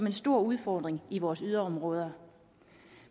en stor udfordring i vores yderområder